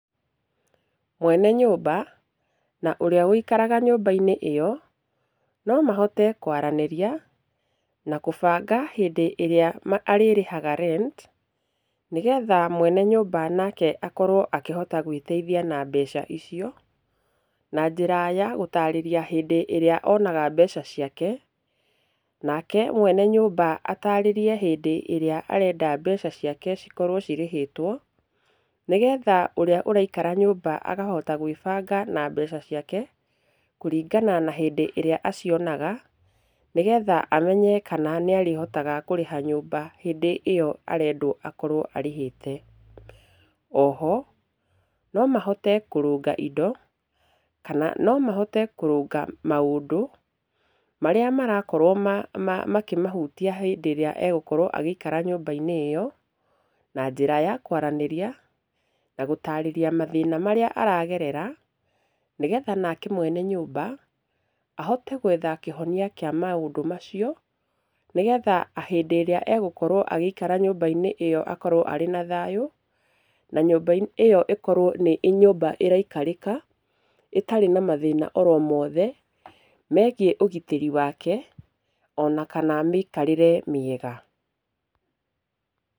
Mwene nyũmba, na ũrĩa wikaraga nyũmba-inĩ ĩyo, nomahote kwaranĩria, na kũbanga hĩndĩ ĩrĩa arĩrĩhaga rent nĩgetha mwene nyũmba nake akorwo akĩhota gwĩteithia na mbeca icio, na njĩra yagũtarĩria hĩndĩ ĩrĩa onaga mbeca ciake, nake mwene nyũmba atarĩrie hĩndĩ ĩrĩa arenda mbeca ciake cikorwo cirĩhĩtwo, nĩgetha ũrĩa ũraikara nyũmba akahota gwĩbanga na mbeca ciake, kũringana na hĩndĩ ĩrĩa acionaga, nĩgetha amenye kana nĩarĩhotaga kũrĩha nyũmba hĩndĩ ĩyo arendwo akorwo arĩhĩte. Oho, nomahote kũrũnga indo, kana nomahote kũrũnga maũndũ, marĩa marakorwo makĩmũhutia hĩndĩ ĩrĩa egũkorwo agĩikara nyũmba-inĩ ĩyo, na njĩra ya kwaranĩria na gũtarĩria mathĩna marĩa aragerera, nake mwene nyũmba ahote gwetha kĩhonia kĩa maũndũ macio, nĩgetha hĩndĩ ĩrĩa egũkorwo agĩikara nyũmba-inĩ ĩyo akorwo arĩ na thayũ, na nyũmba ĩyo ĩkorwo nĩ nyũmba ĩraikarĩka, ĩtarĩ na mathĩna oromothe, megiĩ ũgitĩri wake, ona kana mĩikarĩre mĩega.